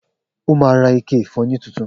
O má ra ike ìfọyín titun